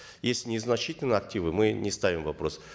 если незначительные активы мы не ставим вопрос